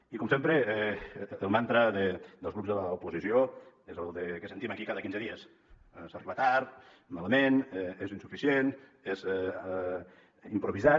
i com sempre el mantra dels grups de l’oposició és el que sentim aquí cada quinze dies s’arriba tard malament és insuficient és improvisat